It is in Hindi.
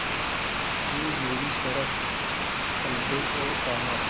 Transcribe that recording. वे मेरी तरफ़ पलटे और कहा